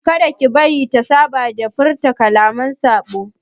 Kada ki bari ta saba da furta kalaman saɓo!